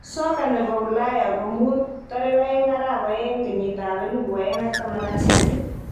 Soka ne bo Ulaya komuut 02.02.2018